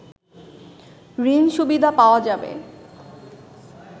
ঋণসুবিধা পাওয়া যাবে